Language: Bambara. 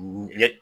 Ye